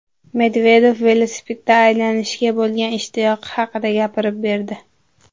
Medvedev velosipedda aylanishga bo‘lgan ishtiyoqi haqida gapirib berdi.